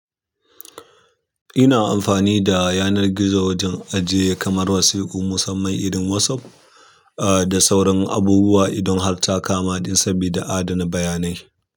Ina amfani da yanar gizo wajen ajiye kamar wasiƙu musamman irin WhatsApp, ah da sauran abubuwa idon har ta kama ɗin sabida adana bayanai.